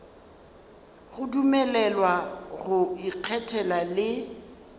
go dumelelwa go ikgethela le